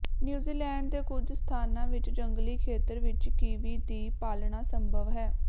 New Zealand ਦੇ ਕੁੱਝ ਸਥਾਨਾਂ ਵਿੱਚ ਜੰਗਲੀ ਖੇਤਰ ਵਿੱਚ ਕਿਵੀ ਦੀ ਪਾਲਣਾ ਸੰਭਵ ਹੈ